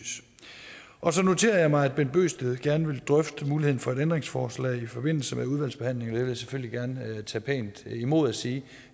og så noterer jeg mig at herre bent bøgsted gerne vil drøfte muligheden for et ændringsforslag i forbindelse med udvalgsbehandlingen jeg selvfølgelig gerne tage pænt imod og sige